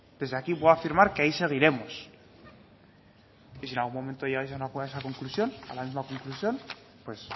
desde aquí puedo afirmar que ahí seguiremos y si en algún momento llegáis a una conclusión a la misma conclusión pues